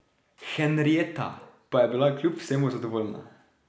Henrietta pa je bila kljub vsemu zadovoljna.